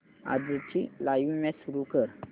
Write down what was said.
आजची live match सुरू कर